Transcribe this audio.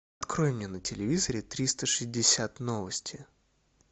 открой мне на телевизоре триста шестьдесят новости